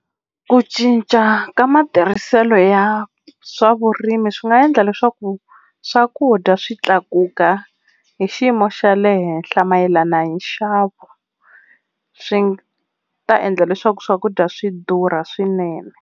Ku cinca ka matirhiselo ya swa vurimi swi nga endla leswaku swakudya swi tlakuka hi xiyimo xa le henhla mayelana hi nxavo. Swi ta endla leswaku swakudya swi durha swinene.